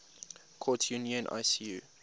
courts union icu